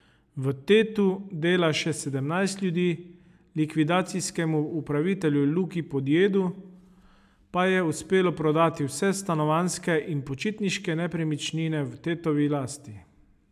V Tetu dela še sedemnajst ljudi, likvidacijskemu upravitelju Luki Podjedu pa je uspelo prodati vse stanovanjske in počitniške nepremičnine v Tetovi lasti.